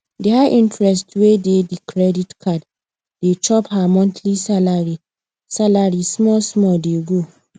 the high interest wey dey the credit card dey chop her monthly salary salary small small dey go